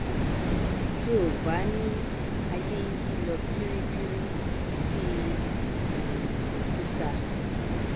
yoòbá ní aiyé nyí lọ biribiri bí um òkúta